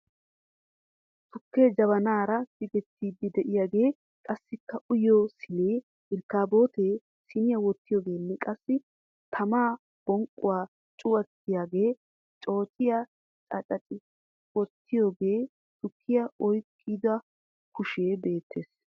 Tukkee jabanaara tigettiiddi diyagee qassikka uyiyo siinee, irkkaabootee siiniya wottiyogeenne qassi tamaa bonqqoy cuwattiyagee, ceeccay caccapi wottoogeenne tukkiya oyiqqida kushee beettes.